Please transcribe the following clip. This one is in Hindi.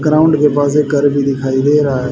ग्राउंड के पास एक घर भी दिखाई दे रहा है।